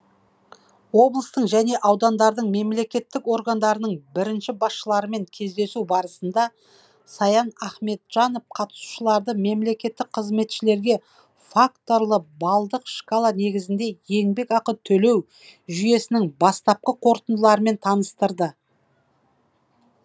облыстың және аудандардың мемлекеттік органдарының бірінші басшыларымен кездесу барысында саян ахметжанов қатысушыларды мемлекеттік қызметшілерге факторлы балдық шкала негізінде еңбекақы төлеу жүйесінің бастапқы қорытындыларымен таныстырды